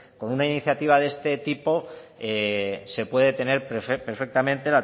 con una iniciativa de este tipo se puede tener perfectamente